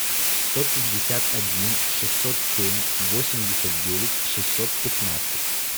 сто пятьдесят один шестьсот семь восемьдесят девять шестьсот пятнадцать